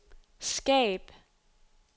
skab